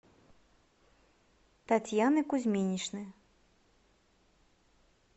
татьяны кузьминичны